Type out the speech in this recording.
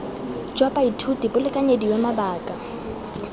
jwa baithuti bo lekanyediwe mabaka